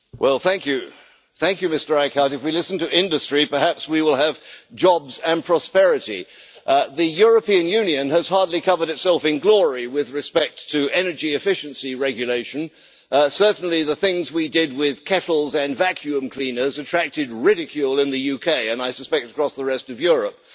Mr President, can I say to Mr Eickhout that if we listen to industry perhaps we will have jobs and prosperity. The European Union has hardly covered itself in glory with respect to energy efficiency regulation. Certainly the things we did with kettles and vacuum cleaners attracted ridicule in the UK, and I suspect across the rest of Europe,